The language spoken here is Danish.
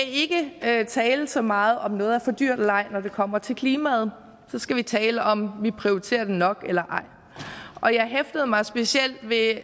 ikke skal tale så meget om hvorvidt noget er for dyrt eller ej når det kommer til klimaet så skal vi tale om hvorvidt vi prioriterer det nok eller ej og jeg hæftede mig specielt ved